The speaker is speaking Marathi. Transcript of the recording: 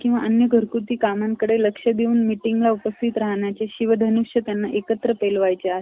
किंवा अन्य घरगुती कामाकडे लक्ष देऊन meeting ला उपस्थित राहण्याचे शिवधनुष्य त्यांना एकत्र उचलायचे आहे .